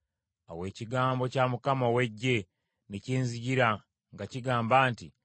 Awo ekigambo kya Mukama ow’Eggye ne kinzijira nga kigamba nti,